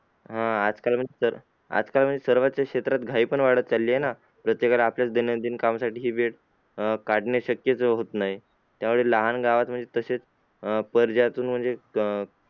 अं आजकाल म्हण आजकाल म्हणजे सर्वच क्षेत्रात घाई पण वाढत चाललेली आहे ना प्रत्येकालाच आपल्या दैनंदिन कामकाजासाठी ही वेळ अं काढण्यात शक्य होत नाही. त्यामुळे लहान गावात म्हणजे तसेच अह अह